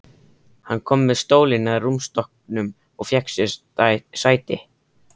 Hann kom með stólinn að rúmstokknum og fékk sér sæti.